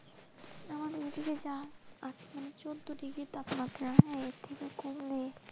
আমাদের এই দিকে আজ যা চৌদ্দ ডিগ্রি তাপমাত্রা, এর থেকে কমলে।